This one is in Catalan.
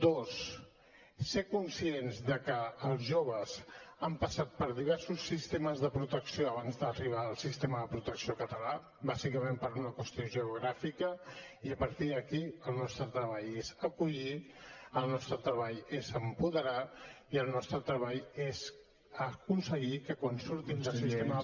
dos ser conscients que els joves han passat per diversos sistemes de protecció abans d’arribar al sistema de protecció català bàsicament per una qüestió geogràfica i a partir d’aquí el nostre treball és acollir el nostre treball és apoderar i el nostre treball és aconseguir que quan surtin del sistema